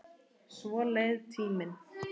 Svo leið tíminn.